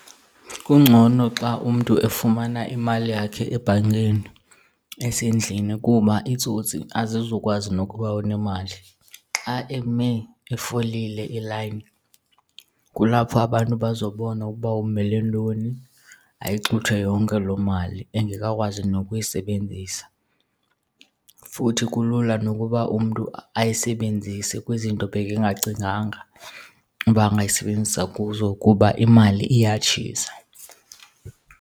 Kungcono xa umntu efumana imali yakhe ebhankeni esendlini kuba iitsotsi azizukwazi nokuba unemali. Xa eme efolile ilayini kulapho abantu bazobona ukuba umele ntoni ayixuthwe yonke loo mali engekakwazi nokuyisebenzisa. Futhi kulula nokuba umntu ayisebenzise kwizinto ebekengacinganga uba angayisebenzisa kuzo kuba imali iyatshisa.